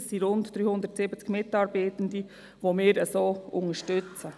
Das sind rund 370 Mitarbeitende, die wir so unterstützen.